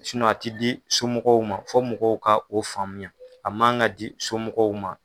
a te di somɔgɔw ma . Fo mɔgɔw ka o faamuya a man ka di somɔgɔw ma.